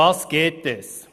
Worum geht es?